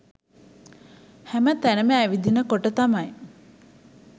හැම තැනම ඇවිදින කොට තමයි